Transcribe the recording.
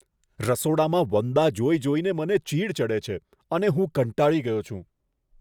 રસોડામાં વંદા જોઈ જોઈને મને ચીડ ચડે છે અને હું કંટાળી ગયો છું.